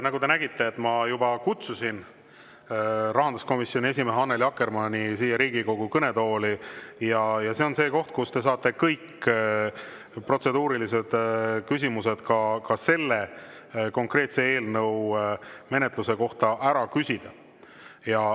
Nagu te nägite, ma juba kutsusin rahanduskomisjoni esimehe Annely Akkermanni siia Riigikogu kõnetooli, ja see on just see koht, kus te saate kõik protseduurilised küsimused, ka selle konkreetse eelnõu menetluse kohta, ära küsida.